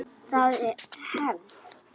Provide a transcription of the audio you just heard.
Það er hefð!